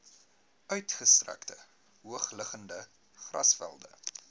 uitgestrekte hoogliggende grasvelde